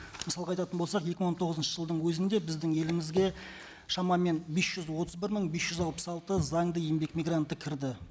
мысалға айтатын болсақ екі мың он тоғызыншы жылдың өзінде біздің елімізге шамамен бес жүз отыз бір мың бес жүз алпыс алты заңды еңбек мигранты кірді